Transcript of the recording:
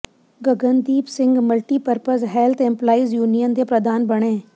Gagandeep Singh multipurpose health employees union ਦੇ ਪ੍ਰਧਾਨ ਬਣੇ